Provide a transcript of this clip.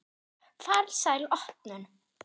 Farsæl opnun.